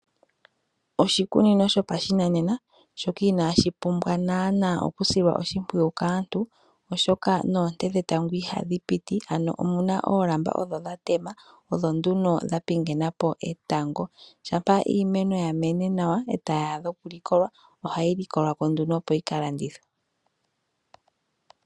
Oshikunino shopa shinanena shoka ina shi pumbwa nana okusilwa oshipwiyu kaantu oshoka noonte dhetango ihadhi piti ano omuna oolamba odho dhatema odho nduno dhapingenapo etango shampa iimeno yamene nawa eta yadha okulikola ohayi likolwako nduno opo yikalandithwe.